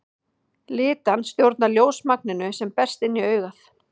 Litan stjórnar ljósmagninu sem berst inn í augað.